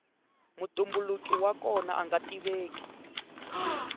mutumbuluki wa kona anga tiveki